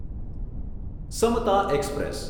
Samta express